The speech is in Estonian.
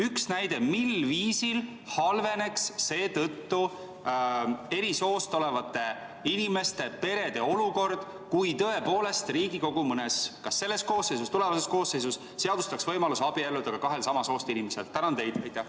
Üks näide, mil viisil halveneks seetõttu eri soost olevate inimeste perede olukord, kui tõepoolest Riigikogu kas selles koosseisus või mõnes tulevases koosseisus seadustaks ka kahe samast soost inimese võimaluse abielluda.